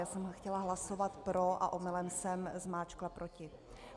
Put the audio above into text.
Já jsem chtěla hlasovat pro a omylem jsem zmáčkla proti.